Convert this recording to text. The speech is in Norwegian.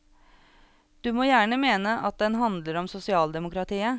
Du må gjerne mene at den handler om sosialdemokratiet.